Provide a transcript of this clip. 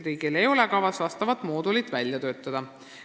Riigil ei ole kavas vastavat moodulit välja töötada.